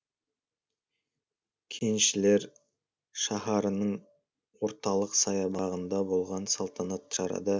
кеншілер шаһарының орталық саябағында болған салтанатты шарада